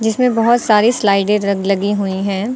जिसमें बहुत सारी स्लाइडें ल लगी हुई हैं।